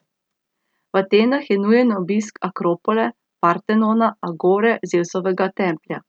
V Atenah je nujen obiska Akropole, Partenona, Agore, Zevsovega templja.